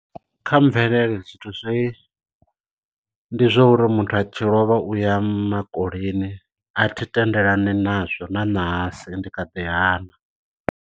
Kha mvelele zwithu zwi ndi zwa uri muthu a tshi lovha uya makoleni a thi tendelani nazwo na ṋahasi ndi kha ḓi hana.